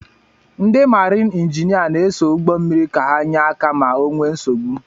Ndị maarin injinia na-eso ụgbọ mmiri ka ha nyé áká ma o nwee nsogbu.